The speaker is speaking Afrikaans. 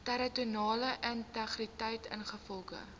territoriale integriteit ingevolge